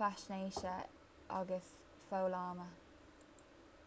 faisnéise agus foghlama